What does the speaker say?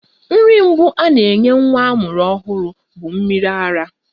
Nri mbụ a na-enye nwa amụrụ ọhụrụ bụ mmiri ara,